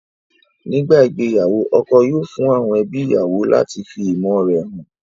Nígbà ìgbéyàwó, ọkọ yóò fún àwọn ẹbí ìyàwó lati fi ìmọ̀ore han